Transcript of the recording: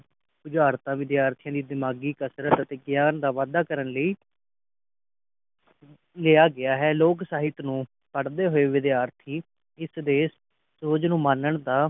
ਉਜਾਰਤਾ ਵਿਦਿਆਰਥੀਆਂ ਦੇ ਦਿਮਾਗੀ ਕਸਰਤ ਅਤੇ ਵਿਗਿਆਨ ਦਾ ਵਾਧਾ ਕਰਨ ਲਈ ਲਿਆ ਗਿਆ ਹੈ ਲੋਕ ਸਹਿਤ ਨੂੰ ਪਢਦੇ ਹੋਏ ਵਿਦਿਆਰਥੀ ਇਸ ਦੇ ਸੂਰਜ ਨੂੰ ਮਾਨਣ ਦਾ